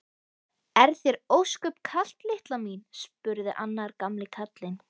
Er þér ósköp kalt litla mín? spurði annar gamli karlinn.